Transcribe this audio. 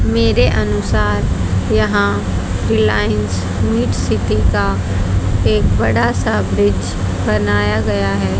मेरे अनुसार यहां रिलायंस मिड सिटी का एक बड़ा सा ब्रिज बनाया गया है।